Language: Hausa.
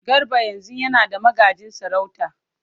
Garba yanzu yana da magajin sarauta.